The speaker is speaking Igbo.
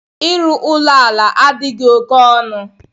Ịrụ ụlọ ala adịghị oke ọnụ.